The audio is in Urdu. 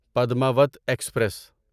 پدماوت ایکسپریس